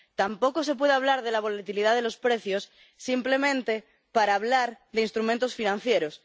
Tampoco se puede hablar de la volatilidad de los precios simplemente para hablar de instrumentos financieros.